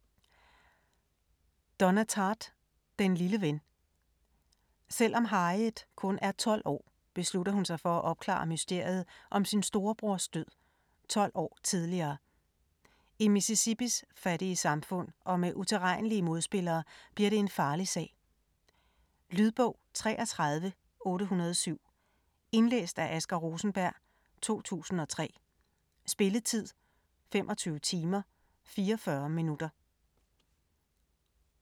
Tartt, Donna: Den lille ven Selvom Harriet kun er 12 år, beslutter hun sig for at opklare mysteriet om sin storebrors død - 12 år tidligere. I Mississippis fattige samfund og med utilregnelige modspillere bliver det en farlig sag. Lydbog 33807 Indlæst af Asger Rosenberg, 2003. Spilletid: 25 timer, 44 minutter.